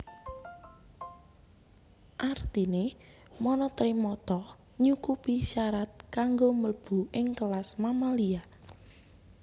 Artiné monotremata nyukupi syarat kanggo mlebu ing kelas Mamalia